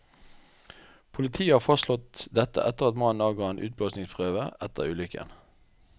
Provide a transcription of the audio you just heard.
Politiet har fastslått dette etter at mannen avga en utblåsningsprøve etter ulykken.